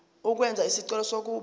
ukwenza isicelo sokuba